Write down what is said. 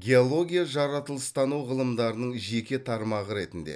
геология жаратылыстану ғылымдарының жеке тармағы ретінде